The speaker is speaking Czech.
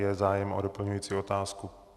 Je zájem o doplňující otázku?